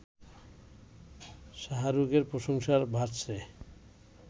শাহরুখের প্রশংসায় ভাসছে